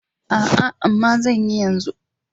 A'a amma zanyi yanzu.